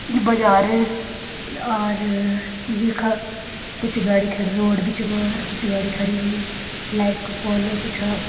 यी बजार और यखा कुछ गाड़ी खड़ीं रोड बिच मा और कुछ गाड़ी खड़ीं हुईं लाइट कु पोल कुछ --